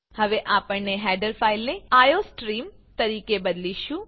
હવે આપણે હેડર ફાઈલને આઇઓસ્ટ્રીમ તરીકે બદલીશું